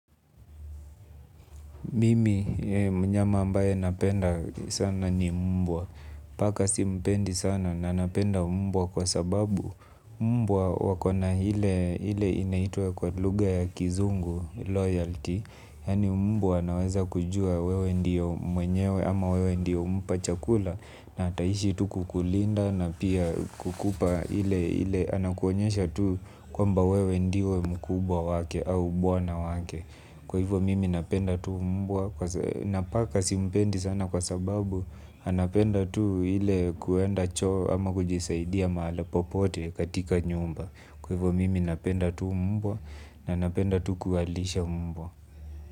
Mimi mnyama ambaye napenda sana ni mbwa. Paka simpendi sana na napenda mbwa kwa sababu mbwa wakona ile inaitwa kwa lugha ya kizungu loyalty. Yaani mbwa anaweza kujua wewe ndiyo mwenyewe ama wewe ndiyo humpa chakula na ataishi tu kukulinda na pia kukupa ile anakuonyesha tu kwamba wewe ndio mkubwa wake au bwana wake. Kwa hivyo mimi napenda tu mbwa. Na paka simpendi sana kwa sababu anapenda tu ile kuenda cho ama kujisaidia mahala popote katika nyumba. Kwa hivyo mimi napenda tu mbwa, na napenda tu kuwalisha mbwa.